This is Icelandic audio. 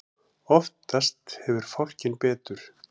Oftast hefur fálkinn betur.